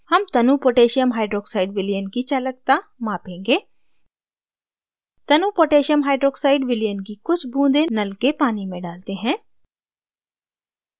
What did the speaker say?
हम तनु potassium hydroxide विलयन की चालकता मापेंगे तनु पोटैसियम hydroxide विलयन की कुछ बूँदें नल के पानी में डालते हैं